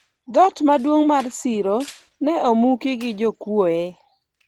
dhoot maduong' mar siro ne omuki gi jokuoye